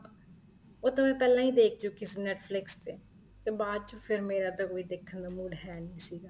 ਉਹ ਤਾਂ ਪਹਿਲਾਂ ਹੀ ਦੇਖ ਚੁੱਕੀ ਸੀ Netflix ਤੇ ਤੇ ਬਾਅਦ ਚ ਫ਼ਿਰ ਮੇਰਾ ਤਾਂ ਕੋਈ ਦੇਖਣ ਨੂੰ mood ਹੈ ਨਹੀਂ ਸੀਗਾ